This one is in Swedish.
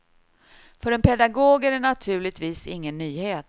För en pedagog är det naturligtvis ingen nyhet.